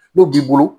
N'o b'i bolo